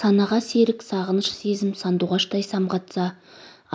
санаға серік сағыныш сезім сандуғаштай самғатса